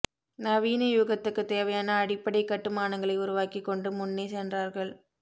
நவீனயுகத்துக்கு தேவையான அடிப்படைக் கட்டுமானங்களை உருவாக்கிக் கொண்டு முன்னே சென்றார்கள்